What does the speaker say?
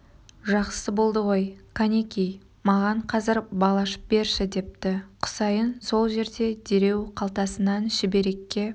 жақсы болды ғой кәнеки маған қазір бал ашып берші депті құсайын сол жерде дереу қалтасынан шүберекке